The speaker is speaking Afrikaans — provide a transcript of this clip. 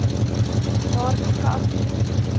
daardie kant toe